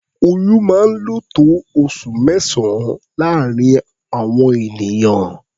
Oyún máa ń lò tó oṣù mẹ́sàn-án láàárín àwọn ènìyàn.